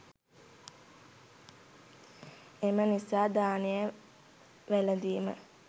එම නිසා දානය වැළඳීම